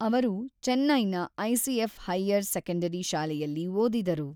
ಅವರು ಚೆನ್ನೈನ ICF higher secondary ಶಾಲೆಯಲ್ಲಿ ಓದಿದರು.